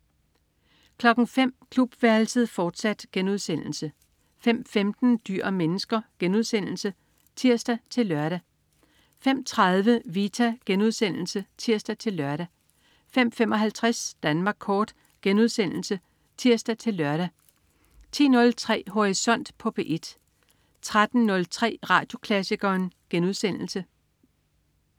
05.00 Klubværelset, fortsat* 05.15 Dyr og mennesker* (tirs-lør) 05.30 Vita* (tirs-lør) 05.55 Danmark Kort* (tirs-lør) 10.03 Horisont på P1 13.03 Radioklassikeren*